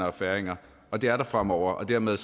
og færinger og det er der fremover dermed